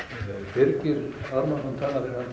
Birgir Ármannsson talar